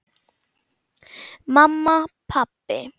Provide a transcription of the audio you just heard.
Mamma. pabbi.